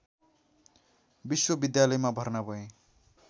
विश्वविद्यालयमा भर्ना भए